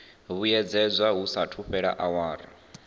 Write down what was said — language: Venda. vhuyedzedzwa hu saathu fhela awara